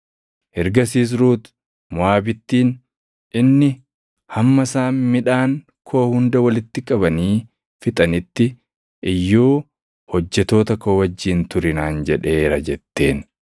Ergasiis Ruut Moʼaabittiin, “Inni, ‘Hamma isaan midhaan koo hunda walitti qabanii fixanitti iyyuu hojjettoota koo wajjin turi’ naan jedheera” jetteen.